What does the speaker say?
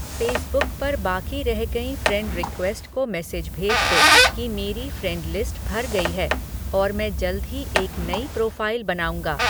Facebook पर बाकी रह गईं फ़्रेंड रिक्वेस्ट को मेसेज भेज दो की मेरी फ्रेंड लिस्ट भर गई है और मैं जल्द ही एक नई प्रोफ़ाइल बनाऊँगा